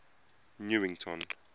newington